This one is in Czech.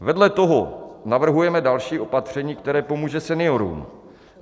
Vedle toho navrhujeme další opatření, které pomůže seniorům.